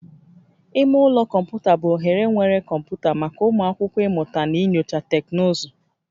Ime ụlọ kọmputa bụ ohere nwere kọmputa maka ụmụ akwụkwọ ịmụta na inyocha teknụzụ